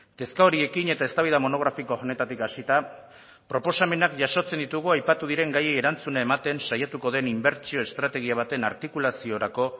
kezka horiekin eta eztabaida monografiko honetatik hasita proposamenak jasotzen ditugu aipatu diren gaiei erantzuna ematen saiatuko den inbertsio estrategia baten artikulaziorako